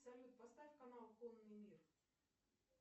салют поставь канал конный мир